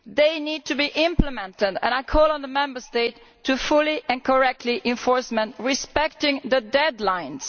They need to be implemented and I call on the Member States to fully and correctly enforce them and respect the deadlines.